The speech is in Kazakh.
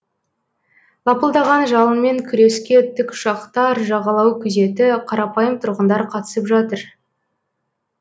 лапылдаған жалынмен күреске тікұшақтар жағалау күзеті қарапайым тұрғындар қатысып жатыр